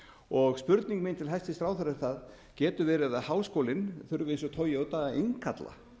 rangt spurning mín til hæstvirts ráðherra er það getur verið að háskólinn þurfi eins og toyota að innkalla